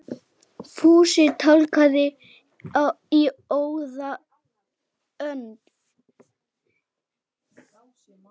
Fúsi tálgaði í óða önn.